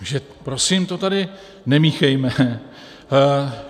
Takže prosím, to tady nemíchejme.